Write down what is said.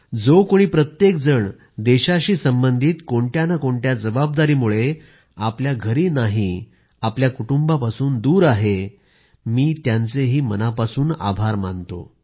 जो कुणी प्रत्येक जण देशाशी संबंधित कोणत्या नं कोणत्या जबाबदारीमुळे आपल्या घरी नाही आपल्या कुटुंबापासून दूर आहे मी त्यांचे मनापासून आभार मानतो